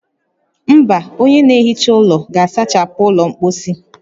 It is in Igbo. Mba, onye na-ehicha ụlọ ga-asachapụ ụlọ mposi